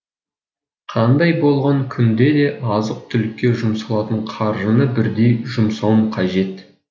қандай болған күнде де азық түлікке жұмсалатын қаржыны бірдей жұмсауым қажет